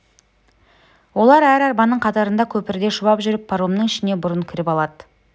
олар әр арбаның қатарында көпірде шұбап жүріп паромның ішіне бұрын кіріп алады